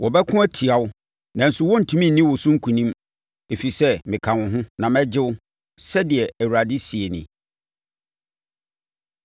Wɔbɛko atia wo nanso wɔrentumi nni wo so nkonim, ɛfiri sɛ meka wo ho, na mɛgye wo,” sɛdeɛ Awurade seɛ nie.